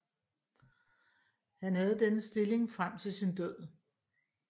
Han havde denne stilling frem til sin død